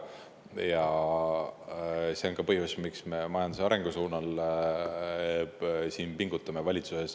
Ja see on ka põhjus, miks me valitsuses majanduse arengu nimel pingutame.